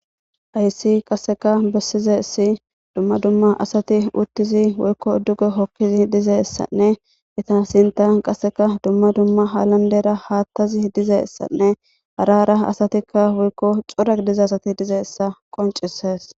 Hayssi qasekka bessizayssi dumma asati woykko duuge hookidii dizayssanne eetta sinttan qasekka dumma dumma halandera haattazi dizayssanne hara hara asati woykko cora gidiza asati dizayssa qonccises.